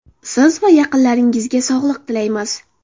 Siz va yaqinlaringizga sog‘lik tilaymiz!